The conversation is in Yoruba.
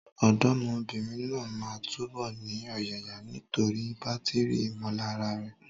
Ọ̀dọ́mọbìnrin náà máa túbọ̀ ní ọ̀yàyà nítorí bátìrì ìmọ̀lára rẹ̀.